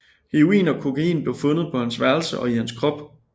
Heroin og kokain blev fundet på hans værelse og i hans krop